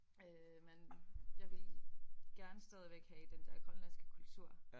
Øh men jeg vil gerne stadigvæk have den der grønlandske kultur